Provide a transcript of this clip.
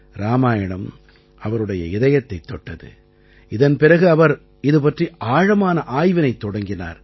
இராமாயணம் அவருடைய இதயத்தைத் தொட்டது இதன் பிறகு அவர் இது பற்றி ஆழமான ஆய்வினைத் தொடங்கினார்